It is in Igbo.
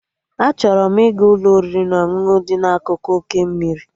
Achọrọ m ịga Ụlọ oriri na ọṅụṅụ dị n'akụkụ oké mmiri